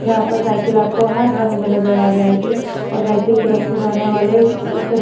यहाँ पर साइकल आपको हर रंग में नजर आ जाएगी और साइकल पे रखें जाने वाले --